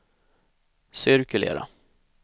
cirkulera